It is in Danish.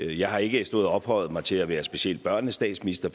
jeg har ikke stået og ophøjet mig til at være specielt børnene statsminister